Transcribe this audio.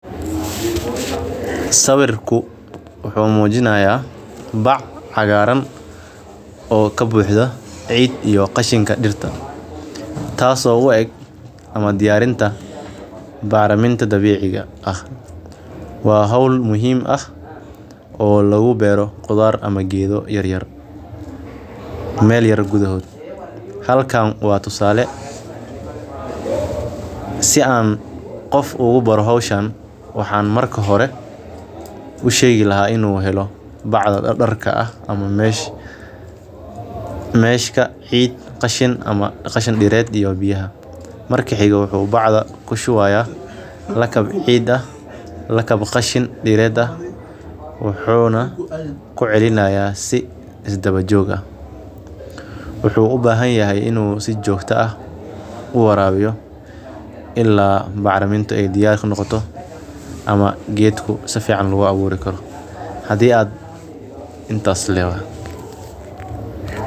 Sawirku wuxuu muujinayaa bac cagaaran oo ka buuxdo cid iyo qashinka dhirta, taasoo u eg ama diyarinta bacraminta dabiiciga ah. Waa hawl muhiim ah oo lagu beero qudaar ama geedo yaryar meel yahay gudahood. Halkaan waa tusaale. Si aan qof ugu bara hawshan, waxaan marka hore u sheeg lahaa inuu helo bacda dha dharka ah ama meesh. Meeshka cid, qashin ama qashin dhireed iyo biyaha. Marka xigga wuxuu bacda ku shuwayaa lakab ciida. Lakab qashin dhireda wuxuuna ku celinayaa si isdaba jooga. Wuxuu u baahan yahay inuu si joogta ah u waraabyo ilaa bacramin ay diyaarka noqoto ama geedku safiican laguga abuurri karo. Hadii aad intaastu leeyahay.